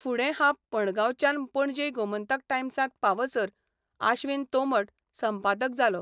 फुडें हांब मडगांवच्यान पणजे 'गोमंतक टायम्सां'त पावसर आश्वीन तोंमड संपादक जालो.